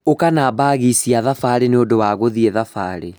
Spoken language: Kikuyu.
ũka na mbagi cia thabarĩ nĩũndũ wa gũthiĩ thabarĩ